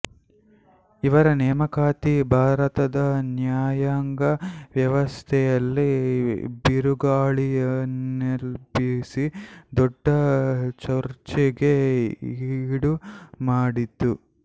ಇವರ ನೇಮಕಾತಿ ಭಾರತದ ನ್ಯಾಯಾಂಗ ವ್ಯವಸ್ಥೆಯಲ್ಲಿ ಬಿರುಗಾಳಿಯನ್ನೆಬ್ಬಿಸಿ ದೊಡ್ದ ಚರ್ಚೆಗೆ ಈಡು ಮಾಡಿತು